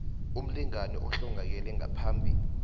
umlingani ohlongakele ngaphambi